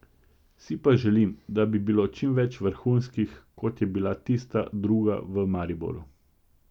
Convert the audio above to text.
Si pa želim, da bi bilo čim več vrhunskih, kot je bila tista druga v Mariboru.